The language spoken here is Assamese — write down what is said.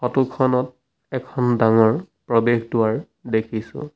ফটো খনত এখন ডাঙৰ প্ৰৱেশ দুৱাৰ দেখিছোঁ।